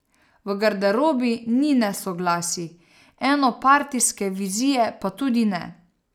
V garderobi ni nesoglasij, enopartijske vizije pa tudi ne.